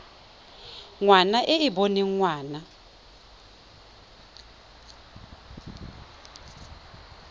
ngwana e e boneng ngwana